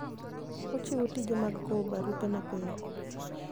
Ochiwo tije mag kowo barupe mapiyo.